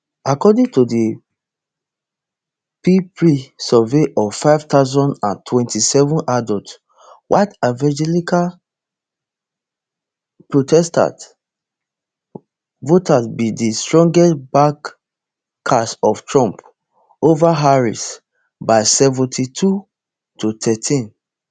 according to di ppri survey of five thousand and twenty-seven adults white evangelical protestant voters be di strongest backers of trump ova harris by seventy-two to thirteen